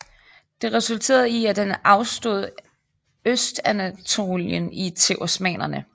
Det resulterede i at han afstod Østanatolien til osmannerne